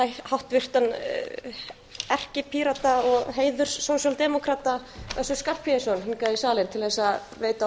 háttvirtan erkipírata og heiðurssósíaldemókrata össur skarphéðinsson hingað í salinn til þess að veita